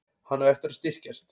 Hann á eftir að styrkjast.